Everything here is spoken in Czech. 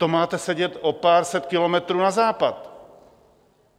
To máte sedět o pár set kilometrů na západ!